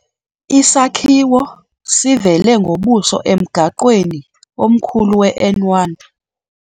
Isakhiwo sivele ngobuso emgaqweni omkhulu weN1.